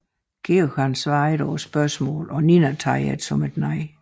George svarer ikke på spørgsmålet og Nina tager det som et nej